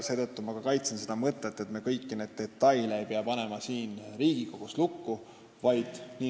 Seetõttu ma kaitsen seda mõtet, et me kõiki detaile ei pea siin Riigikogus lukku panema.